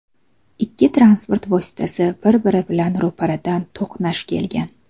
Ikkita transport vositasi bir-biri bilan ro‘paradan to‘qnash kelgan.